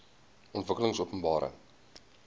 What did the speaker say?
ontwikkelingopenbare